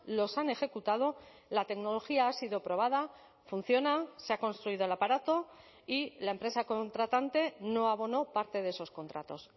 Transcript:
los han ejecutado la tecnología ha sido probada funciona se ha construido el aparato y la empresa contratante no abonó parte de esos contratos